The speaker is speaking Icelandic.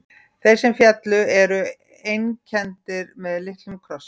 Þeir sem féllu eru einkenndir með litlum krossi.